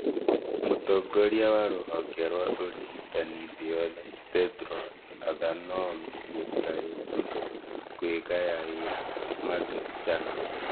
Mũtongoria wa rũhonge rwa ũrigitani thĩ yothe Tedros Adhanom Ghebreyesus kwĩgayaĩra Margaret Chan